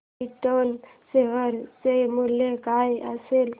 krypton share चे मूल्य काय असेल